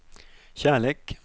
kärlek